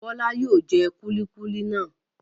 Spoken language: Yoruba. Bọ́lá yóò jẹ kúlíkúlí náà.